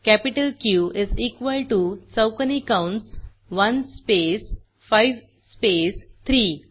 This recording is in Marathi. capital Q is equal to चौकोनी कंस 1 स्पेस 5 स्पेस 3